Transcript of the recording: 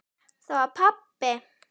Það var pabbi!